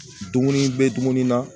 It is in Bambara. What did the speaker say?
Dumuni bɛ dumuni na